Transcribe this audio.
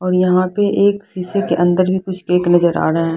और यहाँ पे एक शीशी के अंदर भी कुछ केक नजर आ रहा है।